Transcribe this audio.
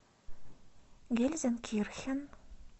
гельзенкирхен